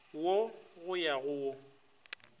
wo go ya go wo